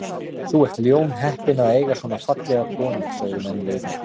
Þú ert ljónheppinn að eiga svona fallega konu sögðu menn við mig.